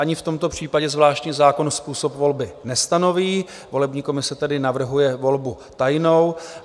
Ani v tomto případě zvláštní zákon způsob volby nestanoví, volební komise tedy navrhuje volbu tajnou.